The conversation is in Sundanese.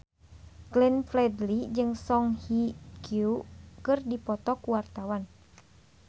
Glenn Fredly jeung Song Hye Kyo keur dipoto ku wartawan